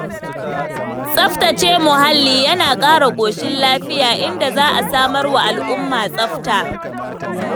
Tsabtace muhalli yana ƙara ƙoshin lafiya, inda za a samarwa al'umma tsafta.